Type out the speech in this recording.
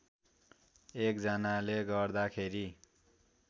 एक जनाले गर्दाखेरि